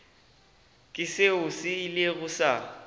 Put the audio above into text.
ke seo se ilego sa